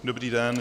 Dobrý den.